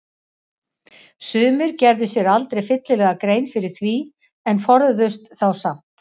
Sumir gerðu sér aldrei fyllilega grein fyrir því en forðuðust þá samt.